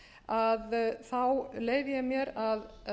að þá leyfi ég mér að